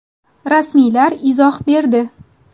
Rasmiylar izoh berdi.